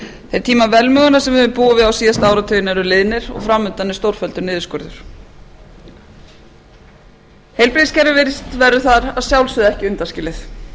þeir tímar velmegunar sem við höfum búið við síðustu áratugina eru liðnir og fram undan er stórfelldur niðurskurður heilbrigðiskerfið verður þar að sjálfsögðu ekki undanskilið